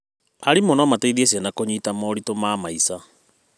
Arimũ no mateithie ciana kũnyita moritũ ma maica.